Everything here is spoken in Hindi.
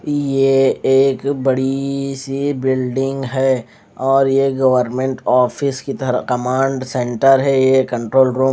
ये एक बड़ी सी बिल्डिंग है और ये गवर्मेंट ऑफिस की तरफ कमांड सेंटर है ये कण्ट्रोल रूम --